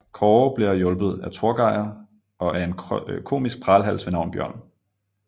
Kåre bliver hjulpet af Torgeir og af en komisk pralhals ved navn Bjørn